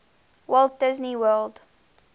walt disney world